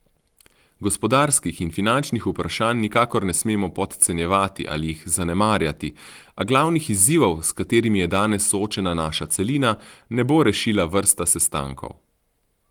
Gospodarskih in finančnih vprašanj nikakor ne smemo podcenjevati ali jih zanemarjati, a glavnih izzivov, s katerimi je danes soočena naša celina, ne bo rešila vrsta sestankov.